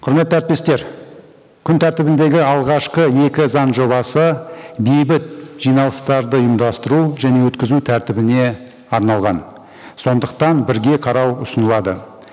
құрметті әріптестер күн тәртібіндегі алғашқы екі заң жобасы бейбіт жиналыстарды ұйымдастыру және өткізу тәртібіне арналған сондықтан бірге қарау ұсынылады